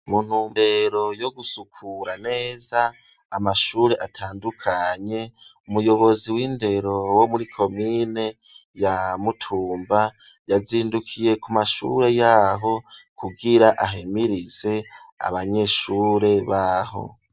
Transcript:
Mu ntumbero yo gusukura neza amashure atandukanye umuyobozi w'indero wo muri komine ya mutumba yazindukiye ku mashure yaho kugira ahemirize abanyeshure baho.